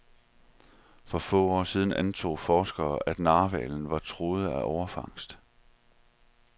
For få år siden antog forskere, at narhvalerne var truet af overfangst.